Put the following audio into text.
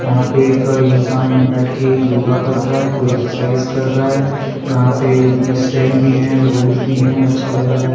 वहां पे एक इंसान यहां बैठ के योगा कर रहा है कोई एक्सरसाइज कर रहा है वहां पे स्टेम भी है रूट भी है अच्छा लग रहा है।